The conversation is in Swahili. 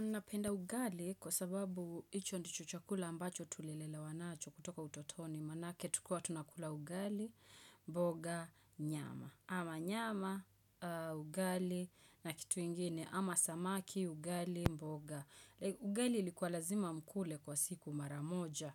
Napenda ugali kwa sababu hicho ndicho chakula ambacho tulilelewa nacho kutoka utotoni maanake tukuwa tunakula ugali, mboga, nyama. Ama nyama, ugali na kitu ingine. Ama samaki, ugali, mboga. Ugali ilikuwa lazima mkule kwa siku mara moja.